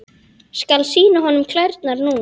Skal sýna honum klærnar núna.